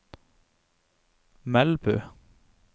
Melbu